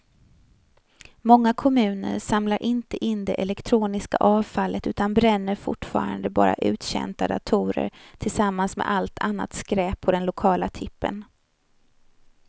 Många kommuner samlar inte in det elektroniska avfallet utan bränner fortfarande bara uttjänta datorer tillsammans med allt annat skräp på den lokala tippen.